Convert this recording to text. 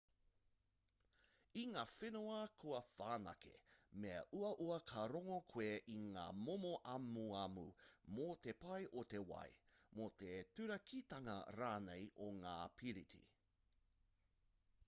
i ngā whenua kua whanake me uaua ka rongo koe i ngā momo amuamu mō te pai o te wai mō te turakitanga rānei o ngā piriti